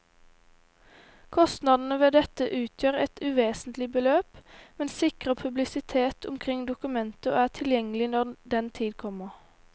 Kostnadene ved dette utgjør et uvesentlig beløp, men sikrer publisitet omkring dokumentet og er tilgjengelig når den tid kommer.